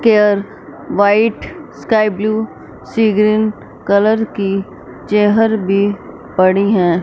Care white sky blue sea green colour की चेहर भी पड़ी है।